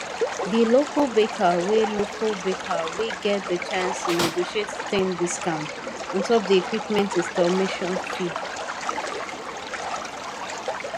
the local baker wey local baker wey get the chance to negotiate ten discount ontop the equipment installation fee